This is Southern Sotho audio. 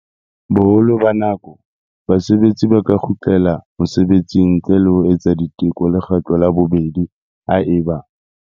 Boholo ba nako, basebetsi ba ka kgutlela mosebetsing ntle le ho etsa diteko lekgetlo la bobedi haeba.